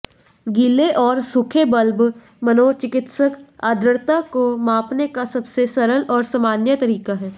गीले और सूखे बल्ब मनोचिकित्सक आर्द्रता को मापने का सबसे सरल और सामान्य तरीका हैं